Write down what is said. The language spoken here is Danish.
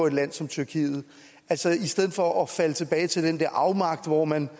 et land som tyrkiet altså i stedet for at falde tilbage til den der afmagt hvor man